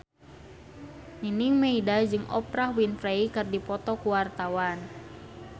Nining Meida jeung Oprah Winfrey keur dipoto ku wartawan